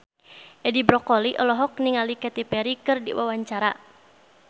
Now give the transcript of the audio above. Edi Brokoli olohok ningali Katy Perry keur diwawancara